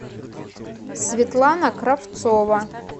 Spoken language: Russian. светлана кравцова